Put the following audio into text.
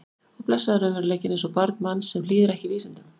Og blessaður raunveruleikinn eins og barn manns sem hlýðir ekki vísindum.